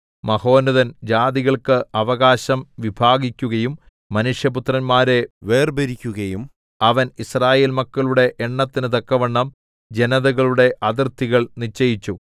മഹോന്നതൻ ജാതികൾക്ക് അവകാശം വിഭാഗിക്കുകയും മനുഷ്യപുത്രന്മാരെ വേർപിരിക്കുകയും ചെയ്തപ്പോൾ അവൻ യിസ്രായേൽ മക്കളുടെ എണ്ണത്തിനു തക്കവണ്ണം ജനതകളുടെ അതിർത്തികൾ നിശ്ചയിച്ചു